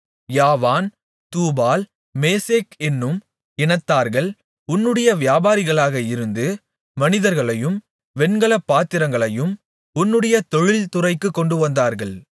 யாவான் தூபால் மேசேக் என்னும் இனத்தார்கள் உன்னுடைய வியாபாரிகளாக இருந்து மனிதர்களையும் வெண்கலப் பாத்திரங்களையும் உன்னுடைய தொழில்துறைக்குக் கொண்டுவந்தார்கள்